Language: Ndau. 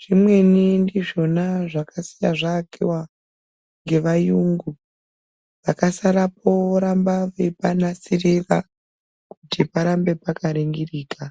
Zvimweni ndizvona zvakasiya zvaakiwa ngevayungu. Vakasarapo voramba veipanasirira kuti parambe paka ringirika.